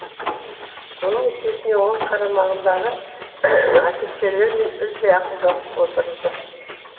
оның есесіне ол қарамағындағы офицерлермен үзбей ақылдасып отырды